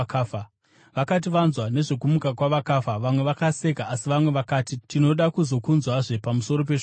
Vakati vanzwa nezvokumuka kwavakafa, vamwe vakaseka, asi vamwe vakati, “Tinoda kuzokunzwazve pamusoro peshoko iri.”